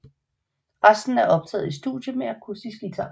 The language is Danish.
Resten er optaget i studie med akustisk guitar